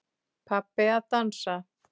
Pabbi að dansa.